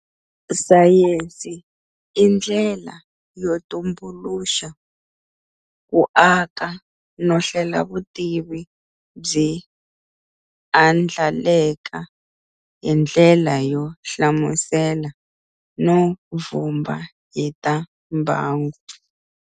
Sayensi indlela yotumbuluxa, kuaka no hlela vutivi byi andlaleka hindlela yo hlamusela no vhumba hi ta mbangu.